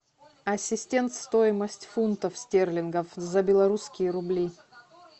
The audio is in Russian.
ассистент стоимость фунтов стерлингов за белорусские рубли